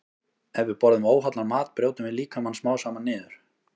Ef við borðum óhollan mat brjótum við líkamann smám saman niður.